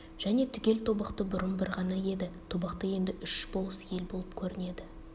және түгел тобықты бұрын бір ғана еді тобықты енді үш болыс ел боп бөлінетін көрінеді